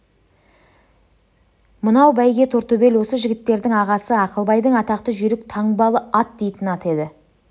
мынау бәйге тортөбел осы жігіттердің ағасы ақылбайдың атақты жүйрік таңбалы ат дейтін аты еді